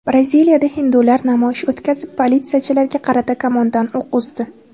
Braziliyada hindular namoyish o‘tkazib, politsiyachilarga qarata kamondan o‘q uzdi.